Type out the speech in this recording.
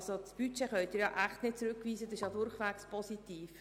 Das Budget können Sie nun wirklich nicht zurückweisen, es ist durchwegs positiv.